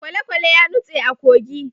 kwalekwale ya nutse a kogi